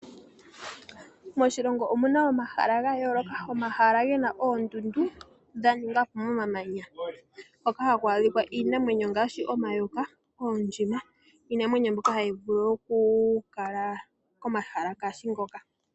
Moshilongo omuna omahala ga yooloka, omahala gena oondundu dha ningwa po mo mamanya. Hoka haku adhikwa iinamwenyo gaashi omayoka, oondjima, niinamwenyo mbyoka hayi vulu oku kala komahala ngaashi ngoka.